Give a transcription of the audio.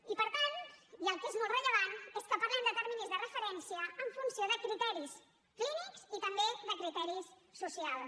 i per tant i el que és molt rellevant és que parlem de terminis de referència en funció de criteris clínics i també de criteris socials